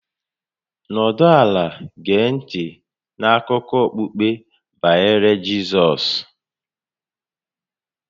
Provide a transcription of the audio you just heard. Nọdụ ala gee ntị n'akụkọ okpukpe a banyere Jizọs